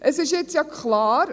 Es ist jetzt klar: